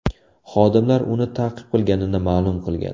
Xodimlar uni ta’qib qilganini ma’lum qilgan.